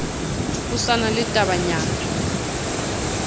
ho sa na le tabanyana